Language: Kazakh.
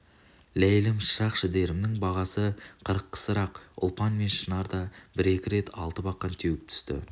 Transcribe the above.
ләйлім шырақшідерімнің бағасы қырық қысырақ ұлпан мен шынар да бір-екі рет алты бақан теуіп түсті